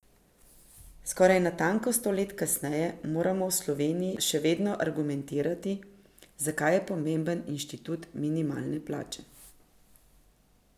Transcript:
Skoraj natanko sto let kasneje moramo v Sloveniji še vedno argumentirati, zakaj je pomemben inštitut minimalne plače.